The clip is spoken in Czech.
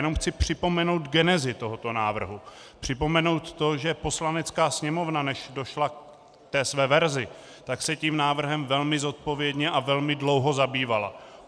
Jenom chci připomenout genezi tohoto návrhu, připomenout to, že Poslanecká sněmovna, než došla ke své verzi, tak se tím návrhem velmi zodpovědně a velmi dlouho zabývala.